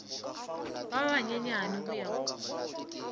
ba banyenyane go ya go